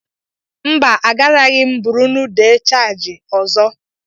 Mba, agaraghị m bụrụnụ de changị ọzọ.